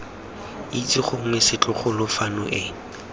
itse gongwe setlogolo fano ene